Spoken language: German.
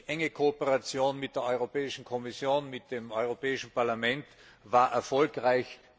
Die enge Kooperation mit der Europäischen Kommission und mit dem Europäischen Parlament war erfolgreich.